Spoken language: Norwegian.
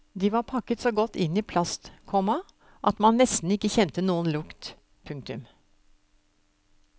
De var pakket så godt inn i plast, komma at man nesten ikke kjente noen lukt. punktum